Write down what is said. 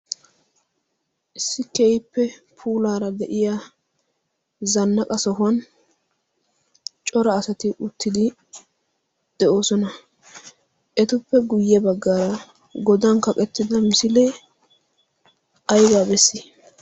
Issi keehippe puulaara de'iyaa zanaqa sohuwan cora asati uttidi de'oosona etuppe guyye bagaara godan kaqettida misilee aybaa bessi?